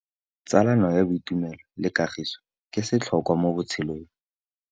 Tsalano ya boitumelo le kagiso ke setlhôkwa mo botshelong.